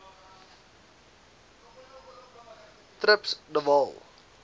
trips de waal